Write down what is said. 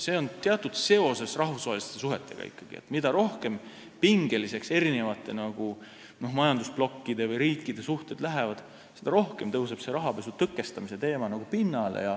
See on ikkagi teatavas seoses rahvusvaheliste suhetega – mida pingelisemaks majandusblokkide või riikide suhted lähevad, seda rohkem tõuseb pinnale rahapesu tõkestamise teema.